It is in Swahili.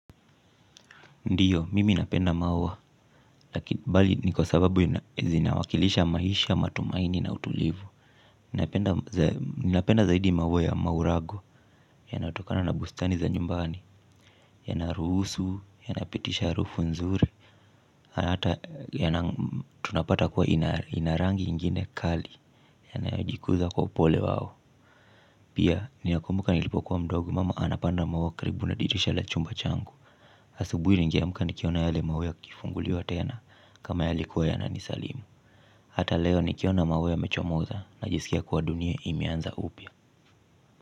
Ndio, mimi napenda maua, bali ni kwa sababu zinawakilisha maisha matumaini na utulivu. Ninapenda zaidi maua ya maurago, yanatokana na bustani za nyumbani. Yanaruhusu, yanapitisha harufu nzuri. Hata, tunapata kuwa ina rangi ingine kali, yanayojikuza kwa upole wao. Pia, ninakumbuka nilipokuwa mdogo, mama anapanda maua karibu na dirisha la chumba changu asubuhi nigeamka nikiona yele maua yakifunguliwa tena kama yalikuwa yananisalimu. Hata leo nikiona maua yamechomoza najisikia kuwa dunia imeanza upya.